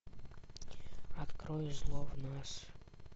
открой зло в нас